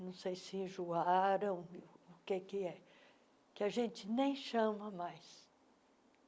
não sei se enjoaram, o que é, que a gente nem chama mais.